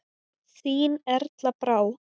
Þín Erla Brá.